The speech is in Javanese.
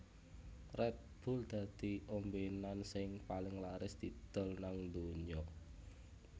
Red Bull dadi ombenan sing paling laris didol nang dunyo